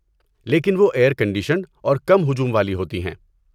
لیکن وہ air conditioned اور کم ہجوم والی ہوتی ہیں۔